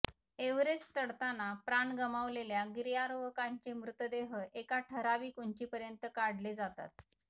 Everest चढताना प्राण गमावलेल्या गिर्यारोहकांचे मृतदेह एका ठराविक उंचीपर्यंत काढले जातात